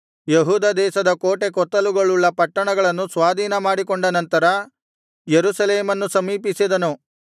ಯೆಹೂದ ದೇಶದ ಕೋಟೆ ಕೊತ್ತಲುಗಳುಳ್ಳ ಪಟ್ಟಣಗಳನ್ನು ಸ್ವಾಧೀನಮಾಡಿಕೊಂಡ ನಂತರ ಯೆರೂಸಲೇಮನ್ನು ಸಮೀಪಿಸಿದನು